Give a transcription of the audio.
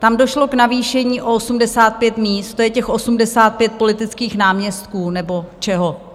Tam došlo k navýšení o 85 míst, to je těch 85 politických náměstků nebo čeho.